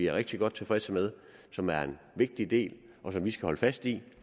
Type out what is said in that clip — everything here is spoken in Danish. er rigtig godt tilfredse med som er en vigtig del og som vi skal holde fast i